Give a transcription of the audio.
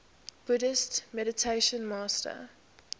buddhist meditation master